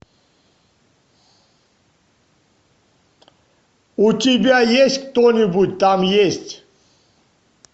у тебя есть кто нибудь там есть